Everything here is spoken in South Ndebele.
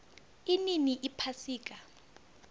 inini iphasika